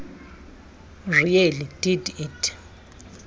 really did it